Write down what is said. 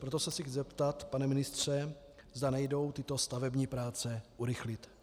Proto se chci zeptat, pane ministře, zda nejdou tyto stavební práce urychlit.